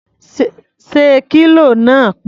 Ṣé kílò náà pé?